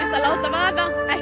láta vaða ekki